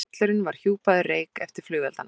Stallurinn var hjúpaður reyk eftir flugelda.